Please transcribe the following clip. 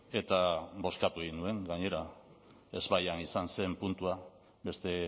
eta bozkatu egin nuen gainera ezbaian izan zen puntua beste